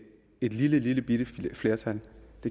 et lillebitte flertal